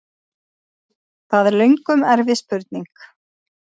Það er löngum erfið spurning!